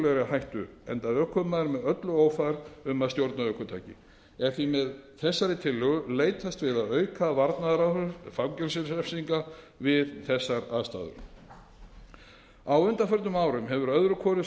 hættu enda ökumaður með öllu ófær um að stjórna ökutæki er því með þessari tillögu leitast við að auka varnaðaráhrif fangelsisrefsinga við þessar aðstæður á undanförnum árum hefur öðru hvoru